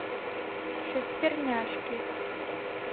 шестерняшки